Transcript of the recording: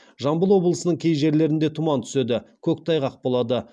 жамбыл облысының кей жерлерінде тұман түседі көктайғақ болады